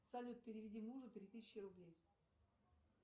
салют переведи мужу три тысячи рублей